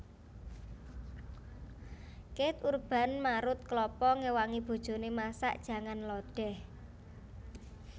Keith Urban marut kelapa ngewangi bojone masak jangan lodeh